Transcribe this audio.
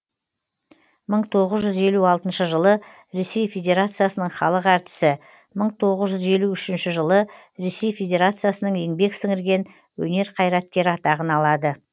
мың тоғыз жүз елу алтыншы жылы ресей федерациясының халық әртісі мың тоғыз жүз елу үшінші жылы ресей федерациясының еңбек сіңірген өнер қайраткері атағын алады